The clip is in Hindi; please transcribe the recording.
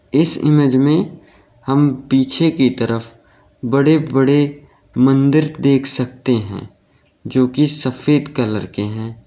इस इमेज में हम पीछे की तरफ बड़े बड़े मंदिर देख सकते हैं जो कि सफेद कलर के हैं।